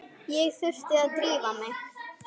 Ég þurfti að drífa mig.